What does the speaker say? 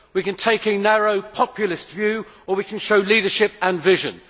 We can take a narrow, populist view or we can show leadership and vision.